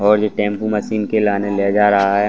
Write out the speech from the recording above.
और ये tempo machine को लाने ले जा रहा है।